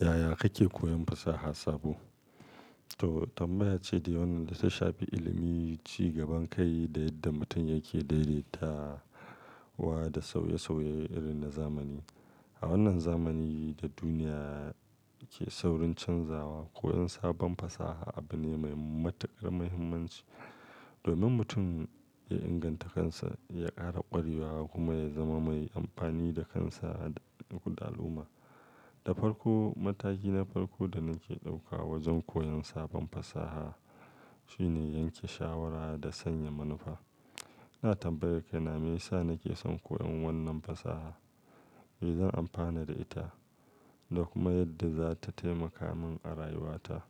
Yaya kake koyon fasahar sabo? To, tambaya ce dai wannan da ta shafi ilimi, ci gaban kai da yadda mutum yake daidaitawa da sauye sauyen irin na zamani. A wannan zamanin da duniya ke saurin canzawa, koyon sabon fasaha abu ne mai matukar muhimmanci domin mutum ya inganta kansa, ya ƙara ƙwarewa kuma ya zama mai amfani da kansa da kuma al'umma. Da farko, mataki na farko da nake ɗauka wajen koyon sabon fasaha shine yanke shawara da sanya manufa. Ina tambayar kaina, me yasa nake son koyon wannan fasaha? Mai zan amfana da ita? Da kuma yadda za ta taimaka min a rayuwata.